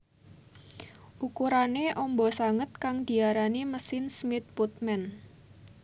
Ukurané amba banget kang diarani mesin Smith Putman